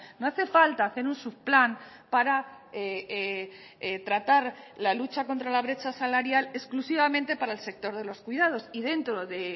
no hace falta hacer un subplan para tratar la lucha contra la brecha salarial exclusivamente para el sector de los cuidados y dentro de